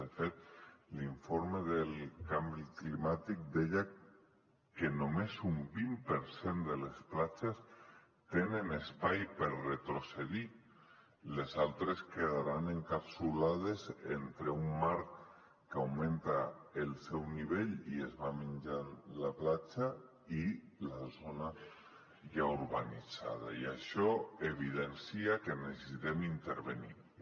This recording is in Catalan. de fet l’informe del canvi climàtic deia que només un vint per cent de les platges tenen espai per retrocedir les altres quedaran encapsulades entre un mar que augmenta el seu nivell i es va menjant la platja i la zona ja urbanitzada i això evidencia que necessitem intervenir hi